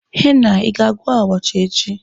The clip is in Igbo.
Henna l, Ị ga-agwọ abacha echi?